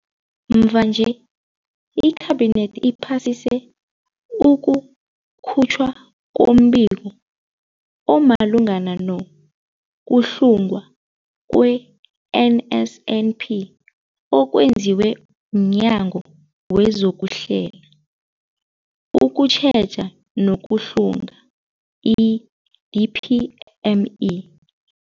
Mvanje, iKhabinethi iphasise ukukhutjhwa kombiko omalungana nokuhlungwa kwe-NSNP okwenziwe mNyango wezokuHlela, ukuTjheja nokuHlunga, i-DPME.